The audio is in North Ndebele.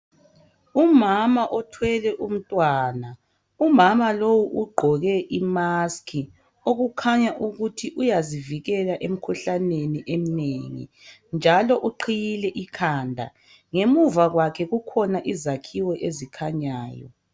Umama othwele umntwana umama lowu ugqoke imask okukhanya ukuthi uyazivikela emikhuhlaneni eminengi njalo uqhiyile ikhanda ngemuva kwakhe kukhona izakhiwo ezikhanyayo.